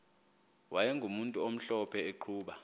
wayegumntu omhlophe eqhuba